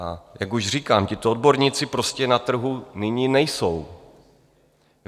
A jak už říkám, tito odborníci prostě na trhu nyní nejsou.